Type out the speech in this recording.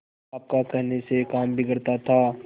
आपका कहने से काम बिगड़ता था